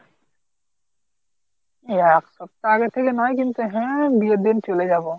এক সপ্তাহ আগে থেকে নয় কিন্তু হ্যাঁ বিয়ের দিন চলে যাবো।